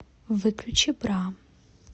выключи бра